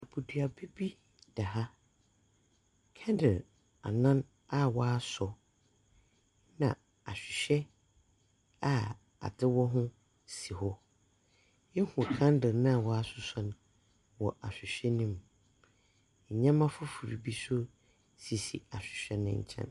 Aboduaba bi da ha. Candle anan a wɔasɔ, na ahwehwɛ a adze wɔ ho si hɔ. Ihu candle no a wɔasosɔ no wɔ ahwehwɛ no mu. Ndzɛmba fofor bi nso sisi ahwehwɛ ne nkyɛn.